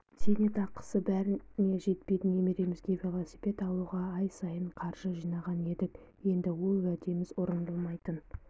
зейнетқасы бәріне жетпейді немеремізге велосипед алуға ай сайын қаржы жинаған едік енді ол уәдеміз орындалмайтын